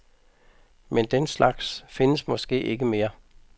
Men den slags findes måske ikke mere.